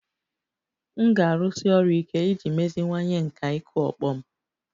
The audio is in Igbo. M ga-arụsi ọrụ ike iji meziwanye nkà ịkụ ọkpọ m